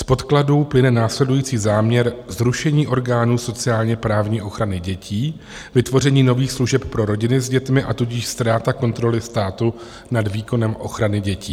Z podkladu plyne následující záměr zrušení orgánů sociálně-právní ochrany dětí, vytvoření nových služeb pro rodiny s dětmi, a tudíž ztráta kontroly státu nad výkonem ochrany dětí.